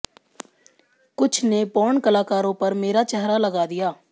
कुछ ने पोर्न कलाकारों पर मेरा चेहरा लगा दिया